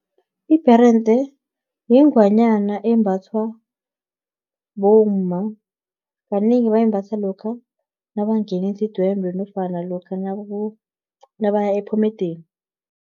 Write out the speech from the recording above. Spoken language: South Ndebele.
Ibherende yingwanyana embathwa bomma, kanengi bayimbatha lokha nabangeneli idwendwe, nofana lokha nabaya ephomedeni.